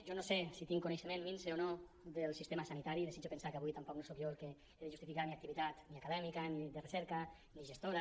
jo no sé si tinc coneixement minse o no del sistema sanitari desitjo pensar que avui tampoc no soc jo el que he de justificar la meva activitat ni acadèmica ni de recerca ni gestora